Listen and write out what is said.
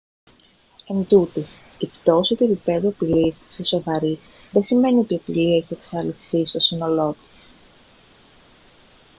εντούτοις η πτώση του επιπέδου απειλής σε σοβαρή δεν σημαίνει ότι η απειλή έχει εξαλειφθεί στο σύνολό της»